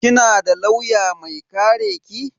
Kina da lauya mai kare ki?